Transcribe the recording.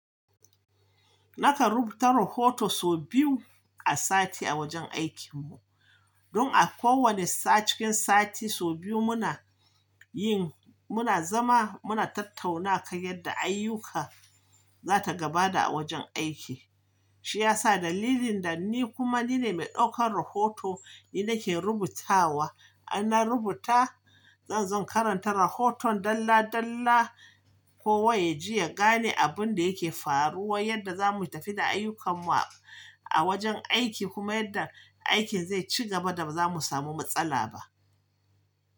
Naka rubuta rohoto so biyu a sati a wajen aikin mu, don a kowanne sa cikin sati sau biyu muna yin, muna zama muna tattauna kan yadda ayyuka za ta gaba da a wajen aiki. Shi ya sa dalilin da ni kuma nine mai ɗaukan rohoto ni nake rubutawa. In na rubuta, zan zo in karanta rohoton dalla dalla kowa yaji ya gane abun da yake faruwa, yadda zamu tafi da ayyukan mu a wajen aiki kuma yadda aikin zai ci gaba da ba zamu samu matsala ba.